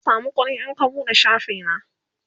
zan samu kuɗi in ka buɗe shafi na